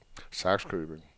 Sakskøbing